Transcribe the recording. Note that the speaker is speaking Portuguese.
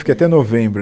Fiquei até novembro.